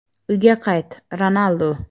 "Uyga qayt, Ronaldu!